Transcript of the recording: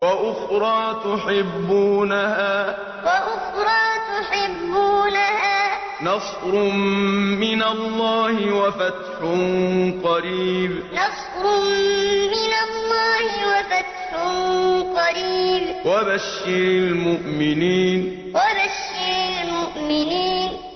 وَأُخْرَىٰ تُحِبُّونَهَا ۖ نَصْرٌ مِّنَ اللَّهِ وَفَتْحٌ قَرِيبٌ ۗ وَبَشِّرِ الْمُؤْمِنِينَ وَأُخْرَىٰ تُحِبُّونَهَا ۖ نَصْرٌ مِّنَ اللَّهِ وَفَتْحٌ قَرِيبٌ ۗ وَبَشِّرِ الْمُؤْمِنِينَ